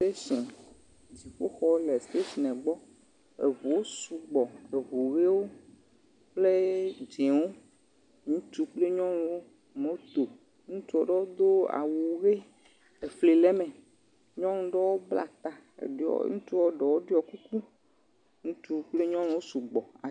Stetshin, dziƒoxɔwo le steshinɛ gbɔ. Eŋuwo sugbɔ. Eŋu ʋewo kple dzẽwo. Ŋutsu kple nyɔnuwo, moto. Ŋutsu aɖewo do awu ʋe. Efli le eme. Nyɔnu ɖewo bla ta. Ŋutsua ɖewo ɖɔ kuku. Ŋutsu kple yɔnuwo sugbɔ.